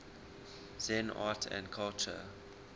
zen art and culture